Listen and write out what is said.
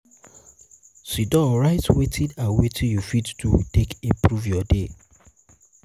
sidon write wetin and wetin yu fit do take improve yur day